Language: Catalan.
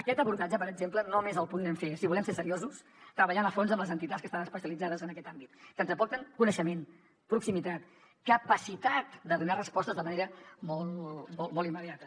aquest abordatge per exemple només el podrem fer si volem ser seriosos treballant a fons amb les entitats que estan especialitzades en aquest àmbit que ens aporten coneixement proximitat capacitat de donar respostes de manera molt immediata